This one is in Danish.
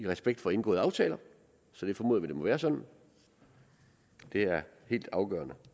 respekt for indgåede aftaler så vi formoder at det må være sådan det er helt afgørende